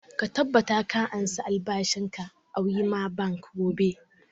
Ka tabbata ka ansa albashin ka a wema bank gobe!